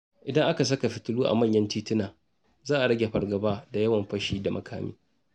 Idan aka saka fitilu a manyan tituna, za a rage fargaba da yawan fashi da makami.